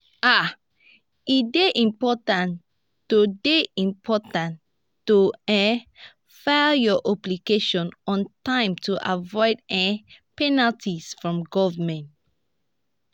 um e dey important to dey important to um file our obligations on time to avoid um penalties from government.